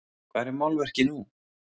Hvar er málverkið nú?